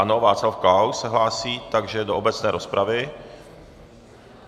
Ano, Václav Klaus se hlásí, takže do obecné rozpravy.